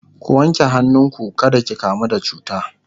ku wanke hannu ku kada ki kamu da cuta!